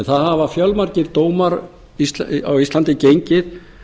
það hafa fjölmargir dómar á íslandi gengið